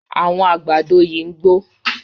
Àwọn àgbàdo yí ń gbó.